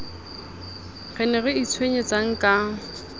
re ne re itshwenyetsang ka